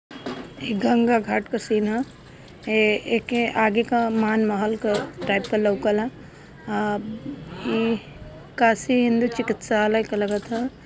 ये गंगा घाट का सीन हा ए के आगे का मान महल टाइप का लोकल ह ई काशी इन्द्र चिकितशल्य का लागत ह।